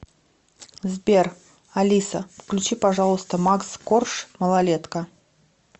сбер алиса включи пожалуйста макс корж малолетка